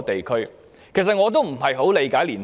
其實，我也不很理解青年人。